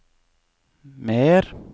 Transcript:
mer